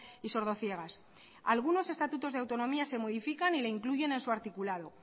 y sordociegas algunos estatutos de autonomía se modifican y la incluyen en su articulado